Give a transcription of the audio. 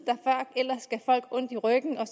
ondt i ryggen og